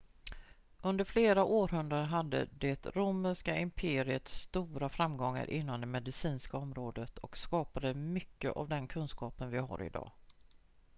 under flera århundraden hade det romerska imperiet stora framgångar inom det medicinska området och skapade mycket av den kunskap vi har idag